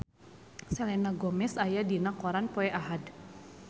Selena Gomez aya dina koran poe Ahad